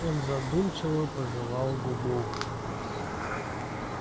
он задумчиво пожевал губу